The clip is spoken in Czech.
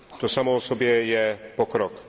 To samo o sobě je pokrok.